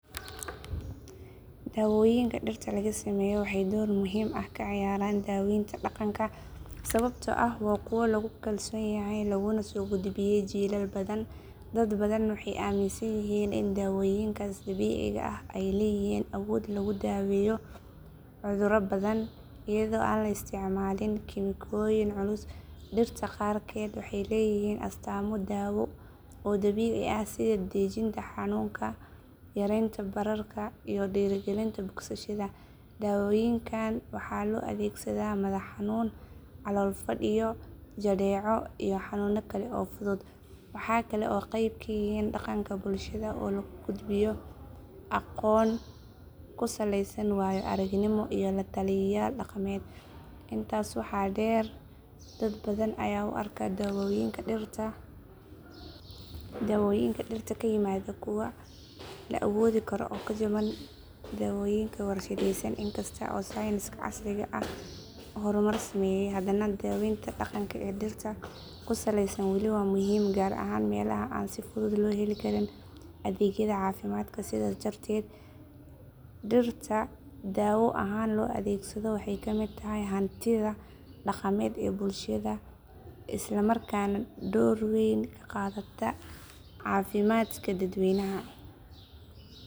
Dawoyinka dhirta laga sameyo wxey door muhin ah kaa cayaraan daweynta dhaqanka sababto ah wa kuwo lagu kalsonyahay laguna sogudbiyaay jilaal badaan dad badan wey aminsanyahin ii dawoyinkas dawiciga ah aay leyahin awood lagu daweyo cuduto badan iyado aan laa isticmalin kimikoyin culus dhirta qarkeed wxey leyahiin astaamo dawo oo dawici ah sida dadajinta xanuunka yarenta baraarka iyo dhiragalinta bogsashada dawoyinkan wxa loo adegsada madax xanuun calool fadhi iyo jadeeco iyo xanuuno Kaale oo fudhuud wxa Kale oo qeyb kayihiin dhaqaanka bulshada oo laguu gudbiyo aqoon kuu saleysan wayo araagnimo iyo lataliyaayal dhaqameed intaas wxaa dheer dad badaan ayaa uu aarka dawoyinka dhirta kaa yimada kuwa laa awoodi karo oo kaa jabaan dawoyinka warshadeysaan inkasto aay science ka casriga ah hormar sameyay hadana daweynta dhaqanka ee dhirta kuu saleysaan wali waa muhiim gaar ahaan melaha aan sii fuduud looga helii kariin adegyada cafimadka sidaas darteed dhirta daawo ahaan loo adegsado wxey ka miid tahay hantiida dhaqameed ee bulshada islamarkana door weyn kaa qadaata cafimadka dadweynaha